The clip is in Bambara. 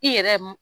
I yɛrɛ m